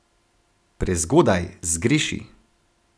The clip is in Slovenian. Prezgodaj, zgreši.